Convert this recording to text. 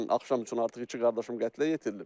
Dünən axşam üçün artıq iki qardaşım qətlə yetirilib.